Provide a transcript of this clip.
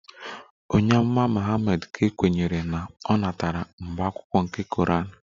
Onye Amụma Muhammad ka e kweere na o natara mbụ mkpughe nke Koran